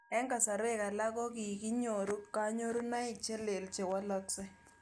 Eng' kasarwek alak ko kinyoru kanyoruniok che lel che walaksei